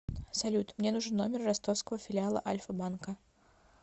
салют мне нужен номер ростовского филиала альфа банка